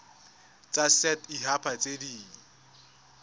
tsa set haba tse di